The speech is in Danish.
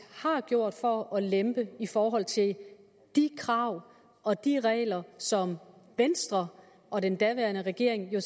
har gjort for at lempe i forhold til de krav og de regler som venstre og den daværende regering jo